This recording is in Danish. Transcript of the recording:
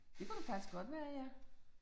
Det kunne det faktisk godt være ja